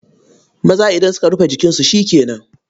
Maza idan suka rufe jikinsu shi ke nan.